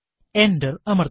enter അമർത്തുക